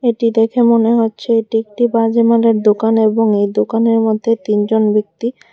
এটি দেখে মনে হচ্ছে এটি একটি বাজিমালের দোকান এবং এই দোকানের মধ্যে তিনজন ব্যক্তি--